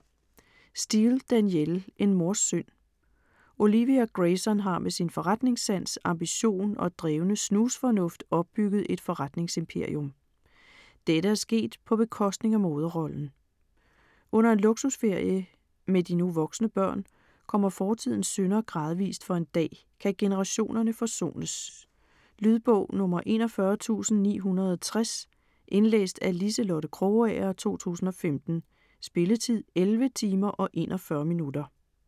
Steel, Danielle: En mors synd Olivia Grayson har med sin forretningssans, ambition og drevne snusfornuft opbygget et forretningsimperium. Dette er sket på bekostning af moderrollen. Under en luksusferie med de nu voksne børn kommer fortidens synder gradvist for en dag. Kan generationerne forsones? Lydbog 41960 Indlæst af Liselotte Krogager, 2015. Spilletid: 11 timer, 41 minutter.